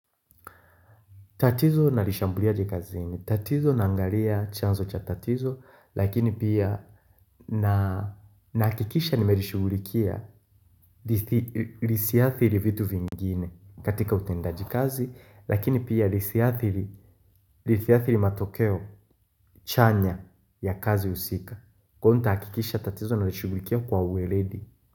Tatizo na lishambulia je kazini. Tatizo naangalia chanzo cha tatizo lakini pia nakikisha nimerishugulikia lisiathiri vitu vingine katika utendaji kazi lakini pia lisiathiri matokeo chanya ya kazi usika. Kwa nita akikisha tatizo na lishugulikia kwa uweredi.